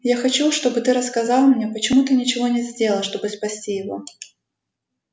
я хочу чтобы ты рассказал мне почему ты ничего не сделал чтобы спасти его